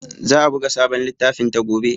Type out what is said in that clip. Za a buga sabon littafinta gobe.